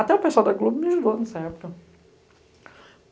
Até o pessoal da Globo me ajudou nessa época.